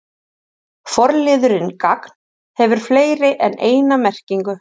Forliðurinn gagn- hefur fleiri en eina merkingu.